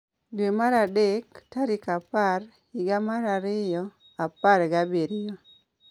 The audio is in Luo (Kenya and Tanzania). Dwe mar adek, tarik apar, higa mar ariyo, apar gabiriyo